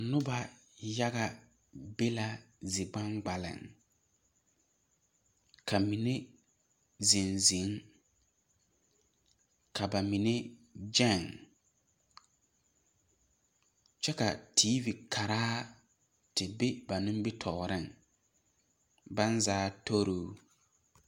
Noba yaga be la zi kpankpaleŋ. Ka mene zeŋ zeŋ. Ka ba mene gyeŋ. Kyɛ ka tv karaa te be ba nimitɔɔreŋ. Baŋ zaa toroo